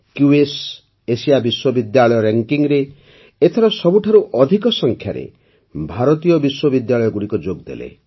QS Asia ବିଶ୍ୱବିଦ୍ୟାଳୟ ର୍ୟାଙ୍କିଙ୍ଗ୍ରେ ଏଥର ସବୁଠାରୁ ଅଧିକ ସଂଖ୍ୟାରେ ଭାରତୀୟ ବିଶ୍ୱବିଦ୍ୟାଳୟଗୁଡ଼ିକ ଯୋଗଦେଲେ